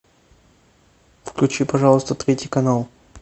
включи пожалуйста третий канал